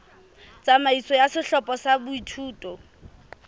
tsamaiso ya sehlopha sa boithuto